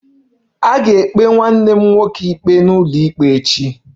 A ga-ekpe nwanne m nwoke ikpe n'ụlọikpe echi